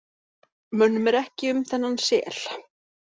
Mönnum er ekki um þennan sel.